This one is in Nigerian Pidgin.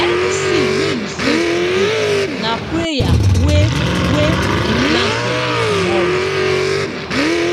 any seed wey you save today na prayer wey wey you plant for tomorrow